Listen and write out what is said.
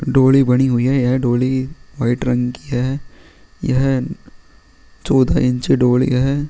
डोड़ी बनी हुई है डोड़ी वाइट रंग की है यह चौदह इंच डोड़ी है।